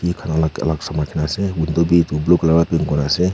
blue colour pra paint kurena ase.